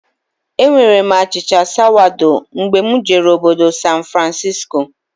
Enwere m achịcha sawado mgbe mụ jere obodo San Francisco